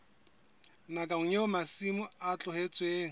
nakong eo masimo a tlohetsweng